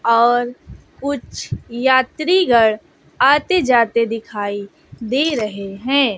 और कुछ यात्रीगण आते जाते दिखाई दे रहे हैं।